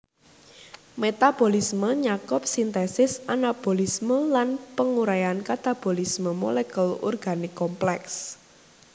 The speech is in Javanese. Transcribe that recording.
Metabolisme nyakup sintesis anabolisme lan panguraian katabolisme molekul organik komplèks